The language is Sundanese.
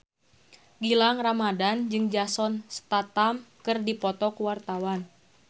Gilang Ramadan jeung Jason Statham keur dipoto ku wartawan